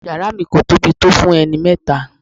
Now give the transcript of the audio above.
Yàrá mi kò tóbi tó fún ẹni mẹ́ta.